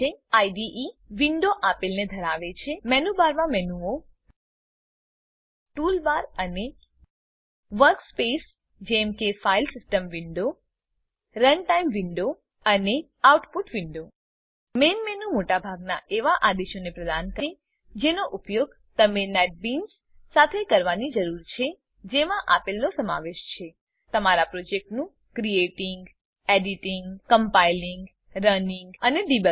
IDE IDE window આપેલને ધરાવે છે મેનુબારમાં મેનુઓ ટૂલબાર અને વર્કસ્પેસ જેમ કે file system window runtime window અને આઉટપુટ વિન્ડો મેઈન મેનુ મોટાભાગનાં એવા આદેશોને પ્રદાન કરે છે જેનો ઉપયોગ તમને નેટબીન્સ સાથે કરવાની જરૂર છે જેમાં આપેલનો સમાવેશ છે તમારા પ્રોજેક્ટનું ક્રિએટિંગ એડિટિંગ કમ્પાઇલિંગ રનિંગ અને ડિબગિંગ